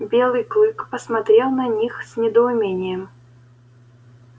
белый клык посмотрел на них с недоумением